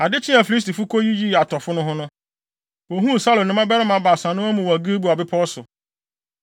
Ade kyee a Filistifo koyiyii atɔfo no ho no, wohuu Saulo ne ne mmabarima baasa no amu wɔ Gilboa bepɔw so.